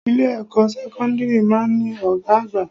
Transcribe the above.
Ilé ẹ̀kọ́ sẹ́kọ́ńdírì máa ń ní Ọ̀gá àgbà.